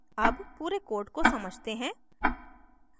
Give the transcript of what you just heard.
अब पूरे code को समझते हैं